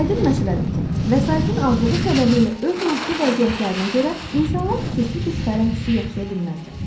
Aydın məsələdir ki, vəsaitin azlığı səbəbilə öz maddi vəziyyətlərinə görə insanlar xüsusi bir fərəh hissi yaşaya bilməzlər.